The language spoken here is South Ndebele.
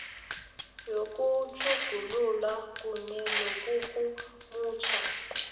yokutjhugulula kunye nokurhumutjha